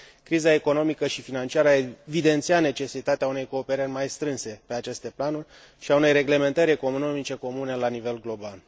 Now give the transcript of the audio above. Criza economică și financiară a evidențiat necesitatea unei cooperări mai strânse pe aceste planuri și a unei reglementări economice comune la nivel global.